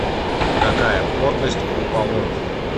какая плотность у полоний